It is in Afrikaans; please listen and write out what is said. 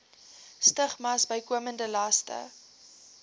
stigmas bykomende laste